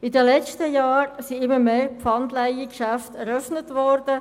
In den letzten Jahren sind immer mehr Pfandleihgeschäfte eröffnet worden.